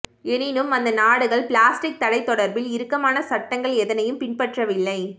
எனினும் அந்த நாடுகள் பிளாஸ்டிக் தடை தொடர்பில் இறுக்கமான சட்டங்கள் எதனையும் பின்பற்றவில்லை